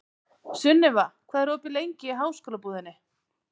Sunniva, hvað er opið lengi í Háskólabúðinni?